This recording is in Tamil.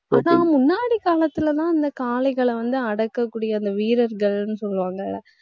ஆனா முன்னாடி காலத்திலேதான் இந்த காளைகளை வந்து அடக்கக் கூடிய அந்த வீரர்கள்ன்னு சொல்வாங்க.